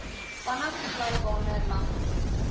vanaf glybane langs